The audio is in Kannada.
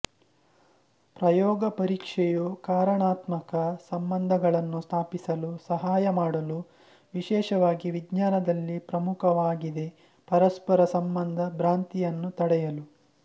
ಪ್ರಯೋಗಪರೀಕ್ಷೆಯು ಕಾರಣಾತ್ಮಕ ಸಂಬಂಧಗಳನ್ನು ಸ್ಥಾಪಿಸಲು ಸಹಾಯಮಾಡಲು ವಿಶೇಷವಾಗಿ ವಿಜ್ಞಾನದಲ್ಲಿ ಪ್ರಮುಖವಾಗಿದೆ ಪರಸ್ಪರ ಸಂಬಂಧ ಭ್ರಾಂತಿಯನ್ನು ತಡೆಯಲು